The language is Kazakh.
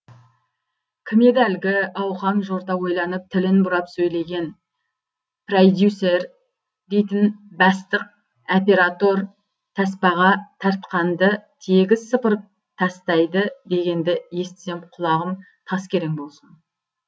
кім еді әлгі ауқан жорта ойланып тілін бұрап сөйлеген прәидюсер дейтін бәстық әператор тәспаға тәртқанді тегіс сыпырып тәстайды дегенді естісем құлағым тас керең болсын